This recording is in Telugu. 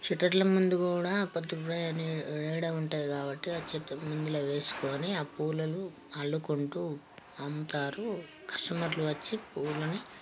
షట్టర్ ల ముందు కూడా వేయడం ఉంటది. కాబట్టి ఆ చట్టబొందిలో వేసుకొని ఆ పూల నల్లుకుంటూ అమ్ముతారు కస్టమర్లు వచ్చి పూలని--